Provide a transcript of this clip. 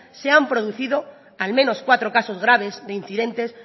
se han producido al menos cuatro casos graves de incidentes